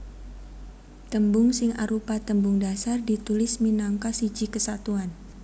Tembung sing arupa tembung dhasar ditulis minangka siji kesatuan